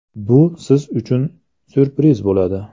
Bu siz uchun ‘syurpriz’ bo‘ladi”.